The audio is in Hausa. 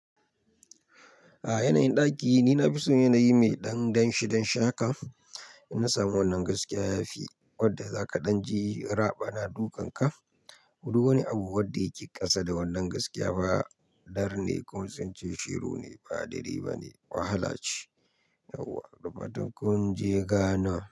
A yanayin ɗaki, ni na fi so yanayi mai ɗan ɗan shi dan shi haka in na samu wannan gaskiya yafi wadda za ka ɗan je raba na dukan ka. Duk wani abu wadda yake ƙasa da wannan gaskiya ba dar ne ko sun ce shiru ne ba daidai ba ne wahala ce. Yauwa, da fatan kun je ga na.